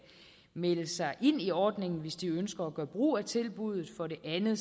melde sig ind i ordningen hvis de ønsker at gøre brug af tilbuddet for det andet